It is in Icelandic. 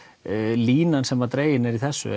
línan sem dregin er í þessu